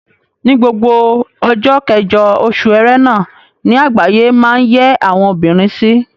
Ni gbogbo ọjọ́ kẹjọ oṣù Ẹrẹ̀nà ni àgbáyé máa ń yẹ àwọn obìnrin sí.